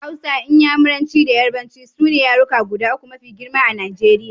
Hausa, Inyamuranci da Yarbanci su ne yaruka guda uku mafi girma a Najeriya.